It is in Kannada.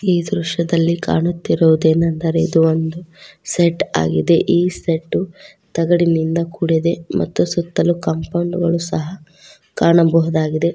ಈ ದೃಶ್ಯದಲ್ಲಿ ಕಾಣುತ್ತಿರುವುದೇನೆಂದರೆ ಇದು ಒಂದು ಸೆಡ್ ಆಗಿದೆ ಈ ಸೆಡ್ಡು ತಗಡಿನಿಂದ ಕೂಡಿದೆ ಮತ್ತು ಸುತ್ತಲೂ ಕಾಂಪೌಂಡ್ ಗಳು ಸಹ ಕಾಣಬಹುದಾಗಿದೆ.